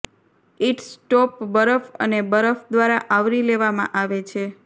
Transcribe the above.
it's top બરફ અને બરફ દ્વારા આવરી લેવામાં આવે છે